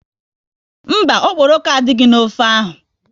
Mba, okporoko adịghị n'ofe ahụ